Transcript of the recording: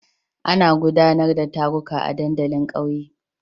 Ana gudanar da taruka a dandalin kauye.